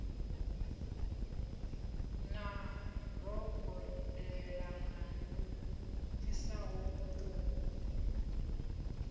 na rogolelana lu pfisaho vhutungu